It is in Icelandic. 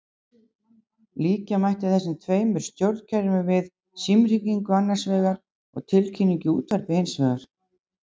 Líkja mætti þessum tveimur stjórnkerfum við símhringingu annars vegar og tilkynningu í útvarpi hins vegar.